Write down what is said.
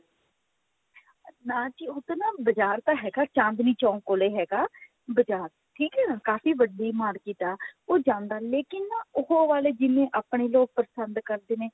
ਨਾ ਜੀ ਉਧਰ ਨਾ ਬਾਜ਼ਾਰ ਤਾਂ ਹੈਗਾ ਚਾਂਦਨੀ ਚੋਂਕ ਕੋਲ ਹੈਗਾ ਬਾਜ਼ਾਰ ਠੀਕ ਹ ਨਾ ਕਾਫੀ ਵੱਡੀ market ਹੈ ਉਹ ਜਾਂਦਾ ਲੇਕਿਨ ਉਹ ਵਾਲੇ ਜਿਵੇਂ ਆਪਣੇ ਜਿਵੇਂ ਪਸੰਦ ਕਰਦੇ ਨੇ